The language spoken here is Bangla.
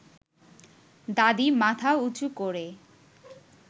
দাদি মাথা উঁচু করে